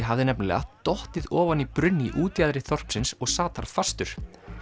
hafði nefnilega dottið ofan í brunn í útjaðri þorpsins og sat þar fastur